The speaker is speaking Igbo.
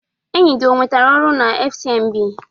Enyi gị o nwetara ọrụ na FCMB?